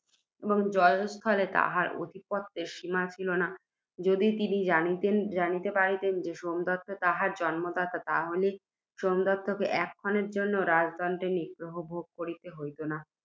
জয়স্থলে তাঁহার আধিপত্যের সীমা ছিল না। যদি তিনি জানিতে পারিতেন, সোমদত্ত তাঁহার জন্মদাতা তাহা হইলে সোমদত্তকে, এক ক্ষণের জন্যেও, রাজদণ্ডে নিগ্রহভোগ করিতে হইত না।